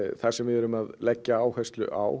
það sem við erum að leggja áherslu á